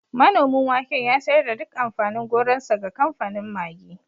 Manomin waken ya sayar da duk amfanin gonarsa ga kamfanin Maggi